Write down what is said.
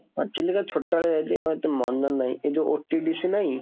ଚିଲିକା ଛୋଟବେଳେ ଯାଇଥିଲି, ଆଉ ଏତେ ମନେ ନାହିଁ, ଏ ଯୋଉ OTDCନାହିଁ